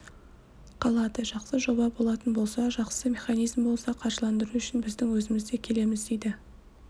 қалады жақсы жоба болатын болса жақсы механизм болса қаржыландыру үшін біздің өзіміз де келеміз дейді